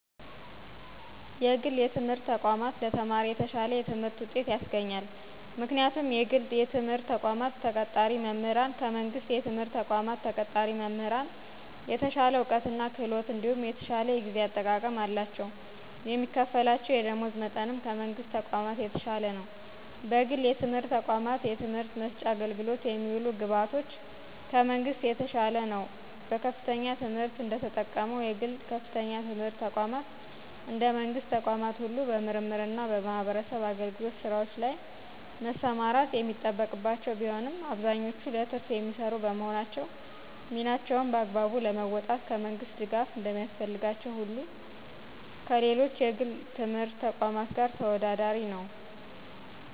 የግል የትምህርት ተቋማትን ለተማሪ የተሸለ የትምህርት ውጤት ያስገኛል። ምክንያቱም የግል የትምህርት ተቋማት ተቀጣሪ መምህራን ከመንግሥት የትምህርት ተቋማት ተቀጣሪ መምህራን የተሸለ ዕውቀት እና ክህሎት እንዲሁም የተሸለ የጊዜ አጠቃቀም አለቸው የሚከፍላቸው የደሞዝ መጠንም ከመንግሥት ተቋማት የተሻለ ነው። በግል የትምህርት ተቋማት የትምህርት መስጫ አገልግሎት የሚውሉ ግብዓቶች ከመንግሥት የተሻለ ነው በከፍተኛ ትምህርት እንደተቀመጠው የግል ከፍተኛ ትምህርት ተቋማት እንደ መንግስት ተቋማት ሁሉ በምርምርና በማህበረሰብ አገልግሎት ሥራዎች ላይ መሰማራት የሚጠበቅባቸው ቢሆንም አብዛኞቹ ለትርፍ የሚሰሩ በመሆናቸው ሚናቸውን በአግባቡ ለመወጣት ከመንግስት ድጋፍ እንደሚያስፈልጋቸው ሁሉ ከሌሎች የግል የትምህርት ተቋማት ጋር ተወዳዳሪ ነው